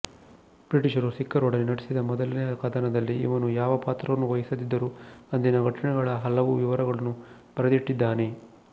ಬ್ರಿಟಿಷರು ಸಿಖ್ಖರೊಡನೆ ನಡೆಸಿದ ಮೊದಲನೆಯ ಕದನದಲ್ಲಿ ಇವನು ಯಾವ ಪಾತ್ರವನ್ನೂ ವಹಿಸದಿದ್ದರೂ ಅಂದಿನ ಘಟನೆಗಳ ಹಲವು ವಿವರಗಳನ್ನು ಬರೆದಿಟ್ಟಿದ್ದಾನೆ